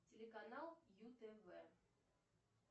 телеканал ю тв